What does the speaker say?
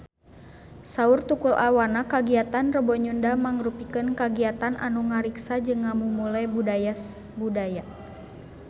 Saur Tukul Arwana kagiatan Rebo Nyunda mangrupikeun kagiatan anu ngariksa jeung ngamumule budaya Sunda